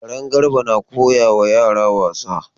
Karen Garba na koyawa yara wasa.